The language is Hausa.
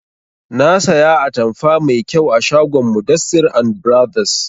Na saya atamfa mai kyau a shagon mudassir and brothers